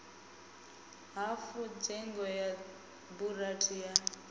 hafu dzhege ya burandi ya